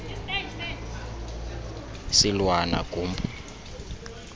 silwana gumpu u